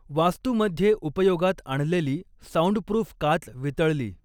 वास्तूमध्ये उपयोगात आणलेली साऊंडप्रूफ काच वितळली.